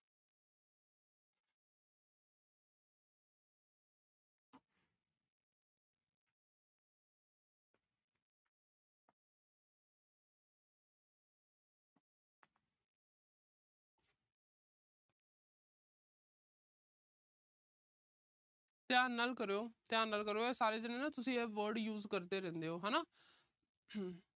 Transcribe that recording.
ਧਿਆਨ ਨਾਲ ਕਰੋ। ਅਹ ਧਿਆਨ ਨਾਲ ਕਰੋ। ਆਹ ਸਾਰੇ ਜਿਹੜੇ ਤੁਸੀਂ ਇਹ word use ਕਰਦੇ ਰਹਿੰਦੇ ਓ ਹਨਾ।